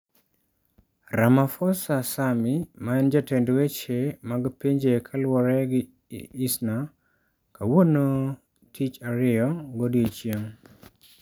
Ramaphosa Sammy ma en jatend weche mag pinje kaluwore gi Isna kawuono tich ariyo godiechieng.